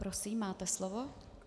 Prosím, máte slovo.